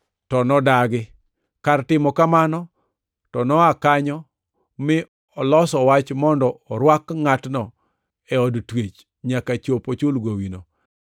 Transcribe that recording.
“To nodagi. Kar timo kamano to noa kanyo mi oloso wach mondo orwak ngʼatno e od twech nyaka chop ochul gowino.